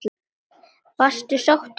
Varstu sáttur við það?